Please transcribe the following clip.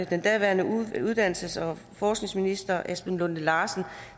den daværende uddannelses og forskningsminister esben lunde larsen